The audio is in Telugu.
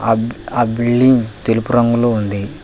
అబ్ ఆ బిల్డింగ్ తెలుపు రంగులో ఉంది.